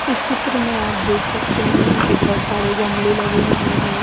इस चित्र में आप देख सकते है की बहोत सारे गमले लगे हुए है।